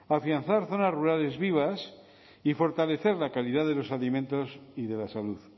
afianzar zonas rurales vivas y fortalecer la calidad de los alimentos y de la salud